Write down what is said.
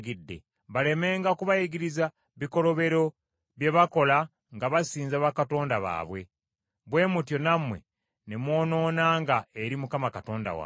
balemenga kubayigiriza bikolobero bye bakola nga basinza bakatonda baabwe, bwe mutyo nammwe ne mwonoonanga eri Mukama Katonda wammwe.